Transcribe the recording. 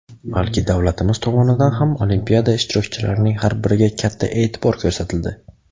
balki davlatimiz tomonidan ham Olimpiada ishtirokchilarining har biriga katta e’tibor ko‘rsatildi.